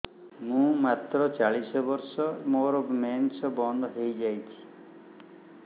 ମୁଁ ମାତ୍ର ଚାଳିଶ ବର୍ଷ ମୋର ମେନ୍ସ ବନ୍ଦ ହେଇଯାଇଛି